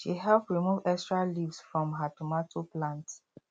she help remove extra leaves from her tomato plant